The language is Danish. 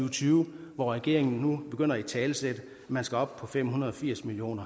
og tyve og regeringen begynder nu at italesætte at man skal op på fem hundrede og firs million